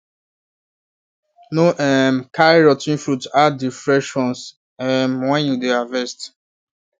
no um carry rot ten fruit add the fresh ones um when you dey harvest